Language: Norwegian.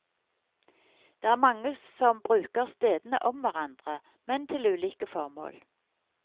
Det er mange som bruker stedene om hverandre, men til ulike formål.